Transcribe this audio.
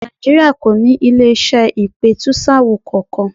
Nàìjíríà kò ní ilé-iṣẹ́ ìpẹ̀tùsááwọ̀ kankan.